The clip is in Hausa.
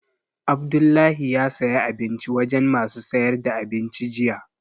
Abdullahi ya saya abinci wajen masu sayar da abinci jiya